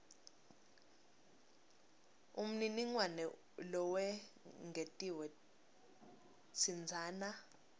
umniningwane lowengetiwe tsintsana